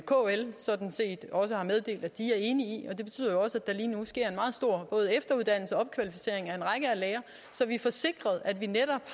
kl sådan set også har meddelt at de er enige i og det betyder jo også at der lige nu sker meget både efteruddannelse og opkvalificering af mange lærere så vi får sikret at vi